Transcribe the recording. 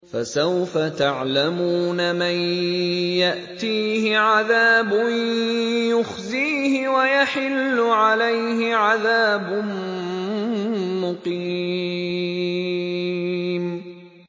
فَسَوْفَ تَعْلَمُونَ مَن يَأْتِيهِ عَذَابٌ يُخْزِيهِ وَيَحِلُّ عَلَيْهِ عَذَابٌ مُّقِيمٌ